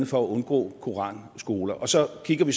for at undgå koranskoler og så kigger vi